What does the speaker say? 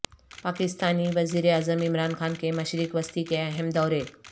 پاکستانی وزیراعظم عمران خان کے مشرق وسطی کے اہم دورے